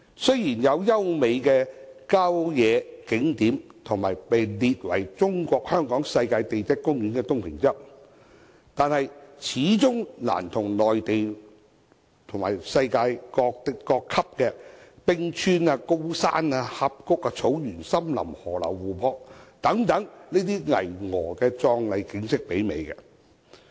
雖然香港有優美的郊野景點，以及獲列為中國香港世界地質公園的東平洲，但始終難以媲美內地和世界級的冰川、高山、峽谷、草原、森林、河流和湖泊等巍峨壯麗景色。